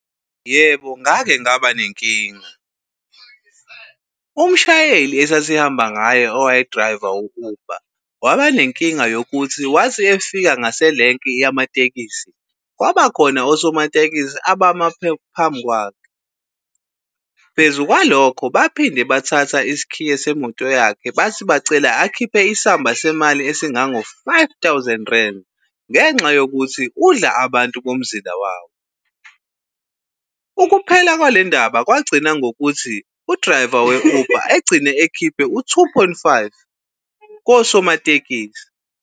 Yebo, ngake ngaba nenkinga. Umshayeli esihamba ngayo owayedrayiva u-Uber waba nenkinga yokuthi wathi efika ngaselenki yamatekisi, kwaba khona osomatekisi abama phambi kwakhe. Phezu kwalokho baphinda bathatha isikhiye semoto yakhe bathi bacela akhiphe isamba semali esingango-five thousand rand ngenxa yokuthi udla abantu bomzila wabo. Ukuphela kwale ndaba kwagcina ngokuthi udrayiva we-Uber egcine ekhiphe u-two point five kosomatekisi.